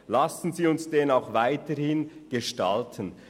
Lassen Sie uns diesen auch weiterhin gestalten.